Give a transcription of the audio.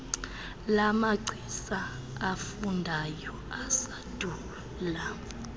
lamagcisa afundayo asandula